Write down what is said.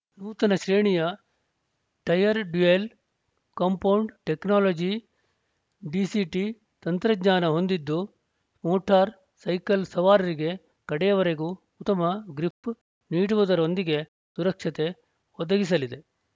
ನೂತನ ಶ್ರೇಣಿಯ tyre dual compound technology DCT ತಂತ್ರಜ್ಞಾನ ಹೊಂದಿದ್ದು ಮೋಟಾರ್ ಸೈಕಲ್ ಸವಾರರಿಗೆ ಕಡೆಯವರೆಗೂ ಉತ್ತಮ ಗ್ರಿಪ್ ನೀಡುವುದರೊಂದಿಗೆ ಸುರಕ್ಷತೆ ಒದಗಿಸಲಿದೆ